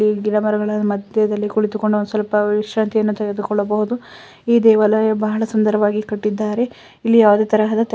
ಈ ಗಿಡಮರಗಳ ಮಧ್ಯದಲ್ಲಿ ಕುಳಿತುಕೊಂಡು ಒಂದು ಸ್ವಲ್ಪ ವಿಶಾಂತ್ರಿಯನ್ನು ತೆಗೆದುಕೊಳ್ಳಬಹುದು. ಈ ದೇವಾಲಯ ಬಹಳ ಸುಂದರವಾಗಿ ಕಟ್ಟಿದ್ದಾರೆ ಇಲ್ಲಿ ಯಾವುದೇ ತರಹ--